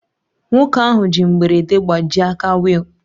Nwoke ahụ ji mberede gbajie aka wheel